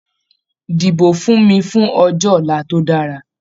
Dìbò fún mi fún ọjọ́ ọ̀la tó dára!